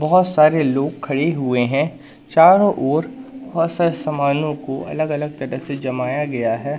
बहुत सारे लोग खड़े हुए हैं चारों ओर बहुत सारे सामानों को अलग अलग तरह से जमाया गया है।